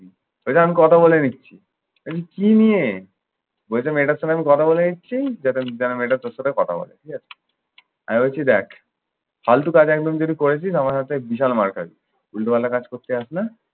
দেখি আমি কথা বলে নিচ্ছে। আমি কি নিয়ে? বলেছে মেয়েটার সঙ্গে আমি কথা বলে নিচ্ছি যাতে যেন মেয়েটা তোর সঙ্গে কথা বলে, ঠিক আছে? আমি বলছি দ্যাখ, ফালতু কাজ একদম যদি করেছিস না আমার হাতে বিশাল মার খাবি। উলটো পালটা কাজ করতে যাস না।